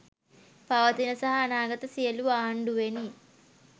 පවතින සහ අනාගත සියළු ආණ්ඩුවෙනි